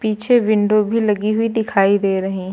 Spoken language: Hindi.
पीछे विंडो भी लगी हुई दिखाई दे रही --